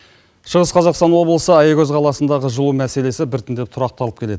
шығыс қазақстан облысы аягөз қаласындағы жылу мәселесі біртіндеп тұрақталып келеді